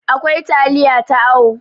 akwai taliya ta awo